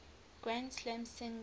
grand slam singles